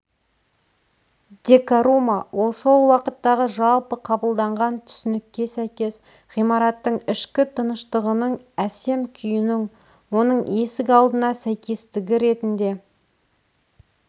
декорума ол сол уақыттағы жалпы қабылданған түсінікке сәйкес ғимараттың ішкі тыныштығының әсем күйінің оның есік алдына сәйкестігі ретінде